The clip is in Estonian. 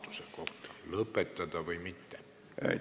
Kas teine lugemine lõpetada või mitte?